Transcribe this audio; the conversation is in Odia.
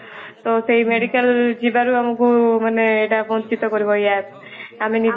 ତ ସେଇ medical ଯିବାକୁ ଆମକୁ ମାନେ ଏଇଟା ବଞ୍ଚିତ କରିବ ଏଇ app ଆମେ ନିଜ